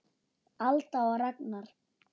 Alda og Ragnar.